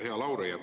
Hea Lauri!